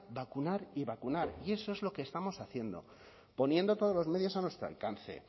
vacunar y vacunar y eso es lo que estamos haciendo poniendo todos los medios a nuestro alcance